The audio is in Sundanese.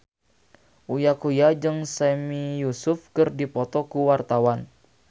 Uya Kuya jeung Sami Yusuf keur dipoto ku wartawan